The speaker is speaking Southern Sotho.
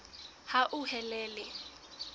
hauhelele